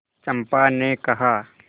चंपा ने कहा